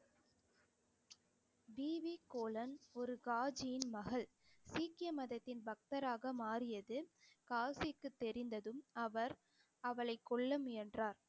D V கோலன் ஒரு காஜியின் மகள் சீக்கிய மதத்தின் பக்தராக மாறியது காஜிக்கு தெரிந்ததும் அவர் அவளைக் கொல்ல முயன்றார்